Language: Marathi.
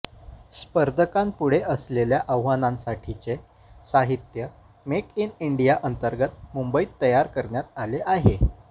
स्पर्धकांपुढे असलेल्या आव्हानांसाठीचे साहित्य मेक इन इंडिया अंतर्गत मुंबईत तयार करण्यात आले आहे